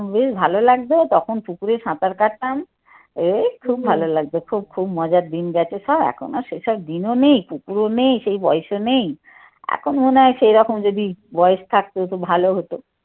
বেশ ভালো লাগতো তখন পুকুরে সাঁতার কাটতাম। খুব ভালো লাগছে খুব খুব মজার দিন গেছে সব এখন আর সেসব দিনও নেই কুকুরও নেই সেই বয়সও নেই এখন মনে হয় সেরকম যদি বয়স থাকতো তো ভালো হতো।